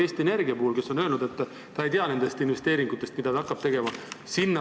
Eesti Energia näiteks on öelnud, et ta ei tea nendest investeeringutest, mida ta hakkab tegema.